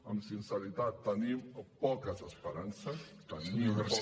amb sinceritat tenim poques esperances tenim poques